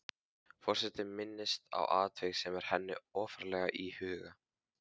Forseti minnist á atvik sem er henni ofarlega í huga.